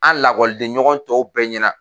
An lakɔliden ɲɔgɔn tɔw bɛɛ ɲɛna.